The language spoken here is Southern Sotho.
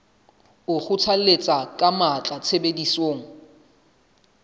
o kgothalletsa ka matla tshebediso